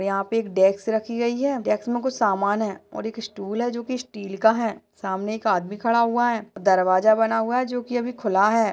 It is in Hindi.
यहाँ पर एक डेस्क रखी गई है डेस्क मे कुछ सामान है और एक स्टूल है जो कि स्टील का है सामने एक आदमी खड़ा हुआ है दरवाजा बना हुआ जो कि अभी खुला है।